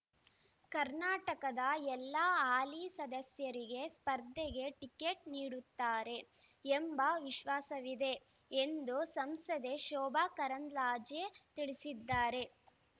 ಕರ್ನಾಟಕದ ಎಲ್ಲಾ ಹಾಲಿ ಸದಸ್ಯರಿಗೆ ಸ್ಪರ್ಧೆಗೆ ಟಿಕೇಟ್ ನೀಡುತ್ತಾರೆ ಎಂಬ ವಿಶ್ವಾಸವಿದೆ ಎಂದು ಸಂಸದೆ ಶೋಭಾ ಕರಂದ್ಲಾಜೆ ತಿಳಿಸಿದ್ದಾರೆ